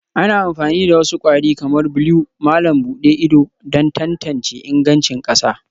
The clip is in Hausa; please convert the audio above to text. Ana amfani da wasu kwari kamar blue malam buɗe ido don tantance ingancin ƙasa